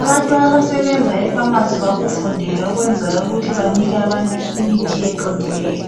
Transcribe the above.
Abantu abasebenza efamasi bakufundela okwenzayo ukuthi banike abantu imithi eqondileyo.